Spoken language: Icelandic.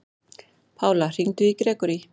Pála, hringdu í Grégory.